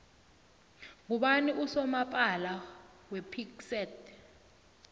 ngubani usomapala wepixate